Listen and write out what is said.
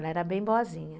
Ela era bem boazinha.